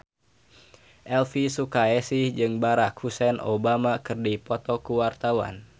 Elvi Sukaesih jeung Barack Hussein Obama keur dipoto ku wartawan